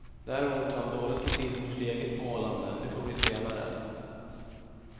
Däremot har han dåligt med tid för sitt eget målande, det får bli senare.